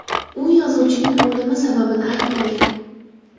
U yozuvchining o‘limi sababini aytmagan.